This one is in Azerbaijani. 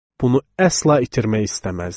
Bunu əsla itirmək istəməzdim.